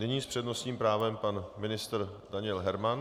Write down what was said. Nyní s přednostním právem pan ministr Daniel Herman.